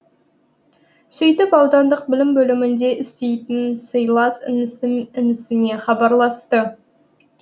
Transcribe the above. сөйтіп аудандық білім бөлімінде істейтін сыйлас інісіне хабарласты